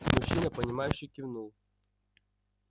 мужчина понимающе кивнул